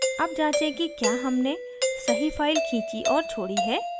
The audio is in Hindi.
अब जाँचें कि क्या हमने सही file खींची और छोड़ी है